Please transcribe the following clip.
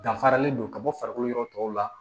Danfaralen don ka bɔ farikolo yɔrɔ tɔw la